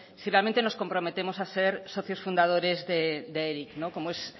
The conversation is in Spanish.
si realmente nos comprometemos a ser socios fundadores de eric como es